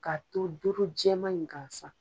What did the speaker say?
Ka to doror jɛma in gansan